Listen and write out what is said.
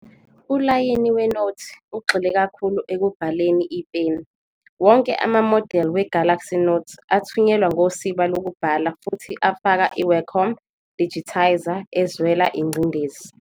Ulayini weNothi ugxile kakhulu ekubhaleni ipeni, wonke amamodeli we-Galaxy Note athunyelwa ngosiba lokubhala futhi afaka i-Wacom digitizer ezwela ingcindezi.